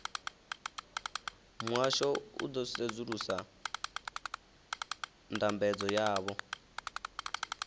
muhasho u ḓo sedzulusa ndambedzo yavho